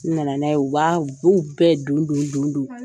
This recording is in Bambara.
na na n'a ye u b'a u b'o bɛɛ don don don don.